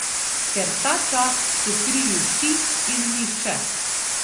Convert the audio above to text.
Ker tačas so krivi vsi in nihče.